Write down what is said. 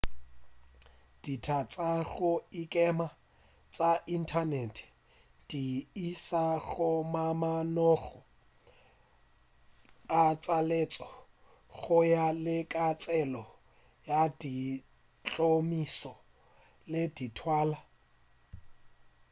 dika tša go ikema tša inthanete di iša go mamanoga a tlaleletšo go ya le ka tsela ya ditšhomišo le dithalwa